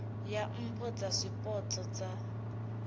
ya mpho dza zwipotso dza